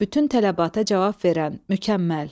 Bütün tələbata cavab verən, mükəmməl.